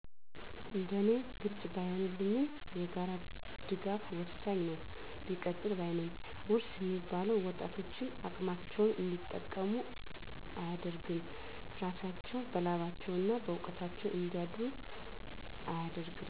እንደ እኔ ግልፅ ባይንልኝም የጋራ ድጋፍ ወሠኝ ነው ቢቀጥል ባይ ነኝ ውርስ እሚባለው ወጣቶችን አቅማቸውን እንዲጠቀሙ አደርግም እራሳቸው በላባቸው እና በውቀታቸው እንዲያድሩ አያደርግም።